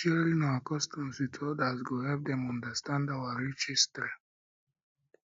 sharing our customs with others go help dem understand our rich history